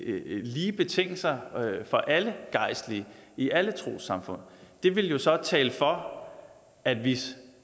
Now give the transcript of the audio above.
lige betingelser for alle gejstlige i alle trossamfund det ville så tale for at vi